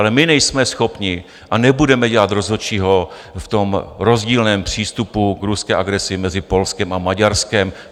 Ale my nejsme schopni a nebudeme dělat rozhodčího v tom rozdílném přístupu k ruské agresi mezi Polskem a Maďarskem.